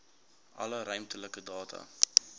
alle ruimtelike data